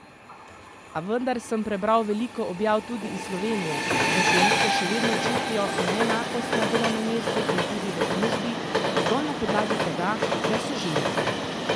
A vendar sem prebral veliko objav tudi iz Slovenije, da ženske še vedno čutijo neenakost na delovnem mestu in tudi v družbi, zgolj na podlagi tega, ker so ženske.